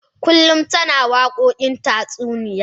Kullun tana waƙokin tatsuniya.